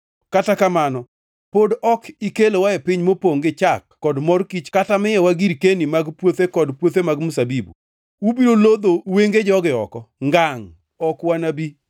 Kata kamano, pod ok ikelowa e piny mopongʼ gi chak kod mor kich kata miyowa girkeni mag puothe kod puothe mag mzabibu. Ubiro lodho wenge jogi oko? Ngangʼ, ok wanabi!”